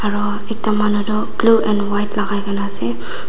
aro ekta manu tu blue and white lagai kina ase.